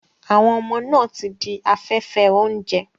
Àwọn ọmọ náà ti di afẹ́fẹ́ oúnjẹ.